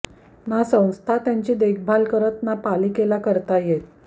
ना संस्था त्यांची देखभाल करत ना पालिकेला करता येत